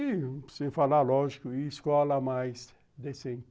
E, sem falar, lógico, e escola mais decente.